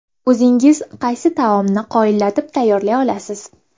O‘zingiz qaysi taomni qoyillatib tayyorlay olasiz?